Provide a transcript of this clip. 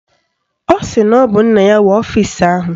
Ọ sị na ọ bụ nna ya nwe ọfisi ahụ